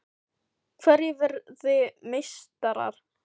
Hverjir verða meistarar?